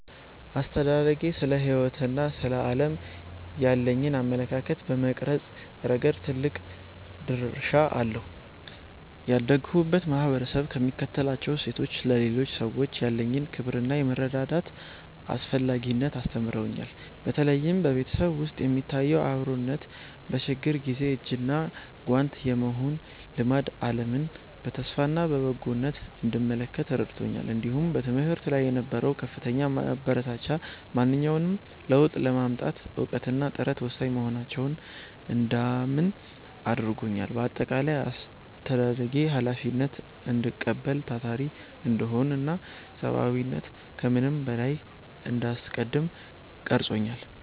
አስተዳደጌ ስለ ሕይወትና ስለ ዓለም ያለኝን አመለካከት በመቅረጽ ረገድ ትልቅ ድርሻ አለው። ያደግሁበት ማኅበረሰብ የሚከተላቸው እሴቶች፣ ለሌሎች ሰዎች ያለኝን ክብርና የመረዳዳት አስፈላጊነትን አስተምረውኛል። በተለይም በቤተሰብ ውስጥ የሚታየው አብሮነትና በችግር ጊዜ እጅና ጓንት የመሆን ልማድ፣ ዓለምን በተስፋና በበጎነት እንድመለከት ረድቶኛል። እንዲሁም በትምህርት ላይ የነበረው ከፍተኛ ማበረታቻ፣ ማንኛውንም ለውጥ ለማምጣት እውቀትና ጥረት ወሳኝ መሆናቸውን እንዳምን አድርጎኛል። በአጠቃላይ፣ አስተዳደጌ ኃላፊነትን እንድቀበል፣ ታታሪ እንድሆንና ሰብዓዊነትን ከምንም በላይ እንዳስቀድም ቀርጾኛል።